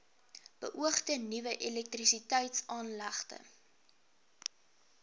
beoogde nuwe elektrisiteitsaanlegte